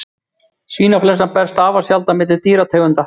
Svínainflúensa berst afar sjaldan milli dýrategunda.